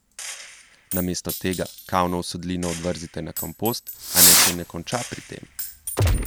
Namesto tega kavno usedlino odvrzite na kompost, a naj se ne konča pri tem.